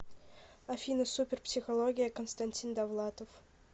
афина супер психология констанстин довлатов